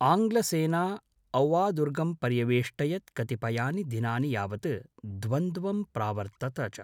आङ्ग्लसेना औवादुर्गं पर्यवेष्टयत् कतिपयानि दिनानि यावत् द्वन्द्वं प्रावर्तत च।